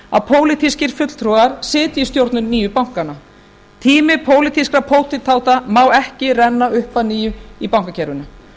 að pólitískir fulltrúar sitja í stjórnum nýju bankanna tími pólitískra pótintáta má ekki renna upp að nýju í bankakerfinu